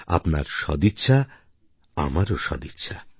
আপনার সদিচ্ছা আমারও সদিচ্ছা